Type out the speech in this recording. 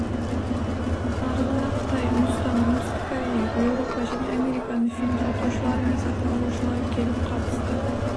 нарығына қытай үндістан оңтүстік корея еуропа және американың фильм сатушылары мен сатып алушылары келіп қатысты